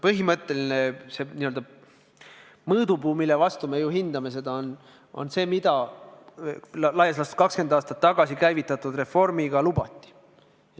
Põhimõtteline n-ö mõõdupuu, mille alusel me seda hindame, on see, mida laias laastus 20 aastat tagasi käivitatud reformiga lubati.